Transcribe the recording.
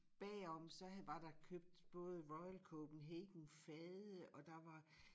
Bagom så havde var der købt både Royal Copenhagen fade og der var